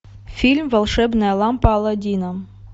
фильм волшебная лампа аладдина